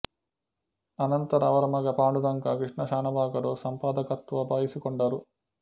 ಅನಂತರ ಅವರ ಮಗ ಪಾಂಡುರಂಗ ಕೃಷ್ಣ ಶಾನಭಾಗರು ಸಂಪಾದಕತ್ವ ವಹಿಸಿಕೊಂಡರು